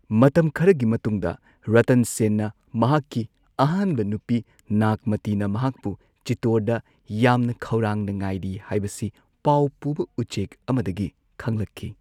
ꯃꯇꯝ ꯈꯔꯒꯤ ꯃꯇꯨꯡꯗ ꯔꯇꯟ ꯁꯦꯟꯅ ꯃꯍꯥꯛꯀꯤ ꯑꯍꯥꯟꯕ ꯅꯨꯄꯤ ꯅꯥꯒꯃꯇꯤꯅ ꯃꯍꯥꯛꯄꯨ ꯆꯤꯠꯇꯣꯔꯗ ꯌꯥꯝꯅ ꯈꯧꯔꯥꯡꯅ ꯉꯥꯏꯔꯤ ꯍꯥꯏꯕꯁꯤ ꯄꯥꯎ ꯄꯨꯕ ꯎꯆꯦꯛ ꯑꯃꯗꯒꯤ ꯈꯪꯂꯛꯈꯤ꯫